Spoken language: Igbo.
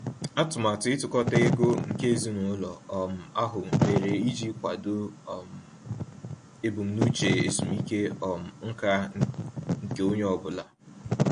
Atụmatụ ịtukọta ego nke ezinụlọ um ahụ mere iji kwado um ebumnuche ezumike um nká nke onye ọ bụla.